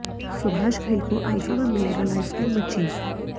सुभाष घई को आइफा में मिलेगा लाइफटाइम अचीव